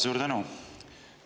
Suur tänu!